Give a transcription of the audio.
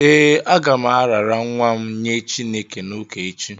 Ee, aga m arara nwa m nye Chineke n’ụka echi